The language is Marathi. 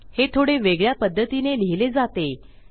हे थोडे वेगळ्या पध्दतीने लिहिले जाते